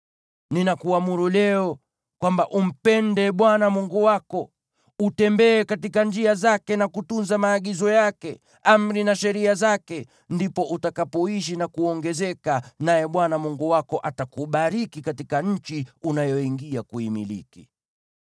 Ninakuamuru leo kwamba umpende Bwana Mungu wako, utembee katika njia zake, na kutunza maagizo yake, amri na sheria zake; ndipo utakapoishi na kuongezeka, naye Bwana Mungu wako atakubariki katika nchi unayoingia kuimiliki.